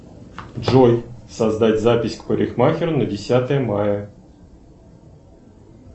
джой создать запись к парикмахеру на десятое мая